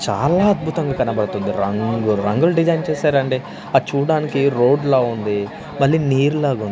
చాలా అద్భుతంగా కనబడుతుంది రంగురంగుల డిజైన్ చేశారండి అద్ చూడ్డానికి రోడ్లా ఉంది మళ్లీ నీరులాగుంది.